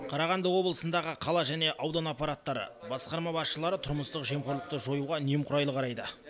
қарағанды облысындағы қала және аудан аппараттары басқарма басшылары тұрмыстық жемқорлықты жоюға немқұрайлы қарайды